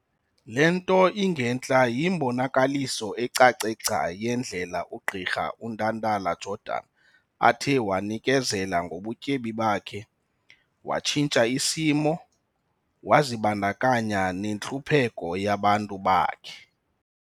Le nto ingentla yimbonakaliso ecace gca yendlela ugqirha uNtantala-Jordan athe wanikezela ngobutyebi bakhe, watshintsha isimo, wazibandakanya nentlupheko yabantu bakhe.